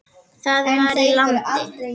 Það var í landi